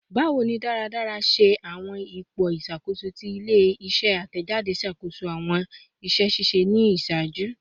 Bawo ni daradara ṣe awọn ipo iṣakoso ti ile-iṣẹ atẹjade ṣakoso awọn iṣẹ ṣiṣe ni iṣaaju?